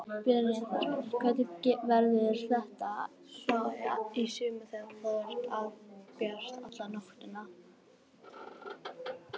Brynja Þorgeirsdóttir: Hvernig verður þetta þá í sumar þegar það er albjart alla nóttina?